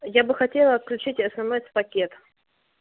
я бы хотела отключить смс-пакет